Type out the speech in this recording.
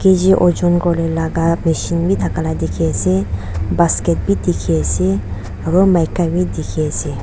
ojon kuriwolae laka machine bithaka la dikhiase basket bi dikhiase aro maika bidikhiase.